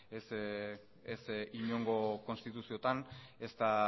ez inongo konstituziotan ez da